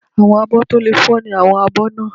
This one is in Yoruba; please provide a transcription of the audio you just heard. Àwọn àbọ̀ tí ò lè fọ́ ni àwọn abọ́ náà